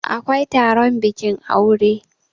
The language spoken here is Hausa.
awkai Taron bikin aure